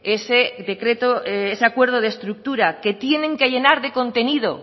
ese acuerdo de estructura que tienen que llenar de contenido